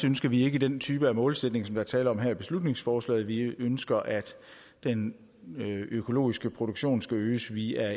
ønsker vi ikke den type målsætning som der er tale om her i beslutningsforslaget vi ønsker at den økologiske produktion skal øges via